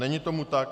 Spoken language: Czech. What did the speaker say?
Není tomu tak.